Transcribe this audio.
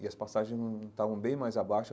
E as passagens estavam bem mais abaixo.